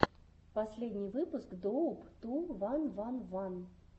последний выпуск доуп ту ван ван ван